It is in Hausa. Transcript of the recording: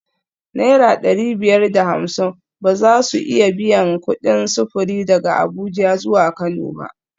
Naira dari biyar da hamsin ba za su iya biyan kudin sufuri daga Abuja zuwa Kano ba